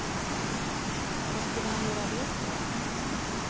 Vad skulle han göra det för?